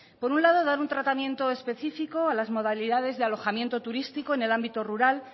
por un lado dar un tratamiento específico a las modalidades de alojamiento turístico en el ámbito rural